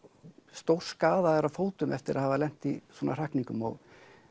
stórskaðaðir á fótum eftir að hafa lent í svona hrakningum og